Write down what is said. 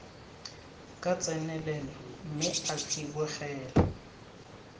ka tsenelelo mme a tsibogela